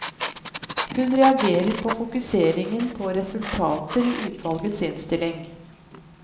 Hun reagerer på fokuseringen på resultater i utvalgets innstilling.